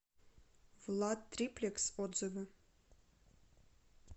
владтриплекс отзывы